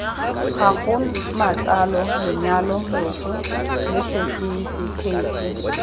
gago matsalo lenyalo loso lesetifikheiti